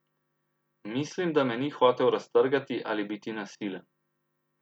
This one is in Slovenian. Mislim, da me ni hotel raztrgati ali biti nasilen.